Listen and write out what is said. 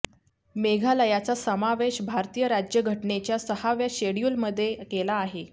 मेघालयाचा समावेश भारतीय राज्यघटनेच्या सहाव्या शेड्युलमध्ये केला आहे